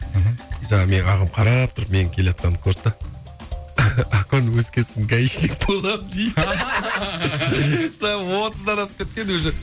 мхм жаңа менің ағам қарап тұрып менің келатқанымды көрді де акон өскесін гаишник боламын дейді отыздан асып кеткен уже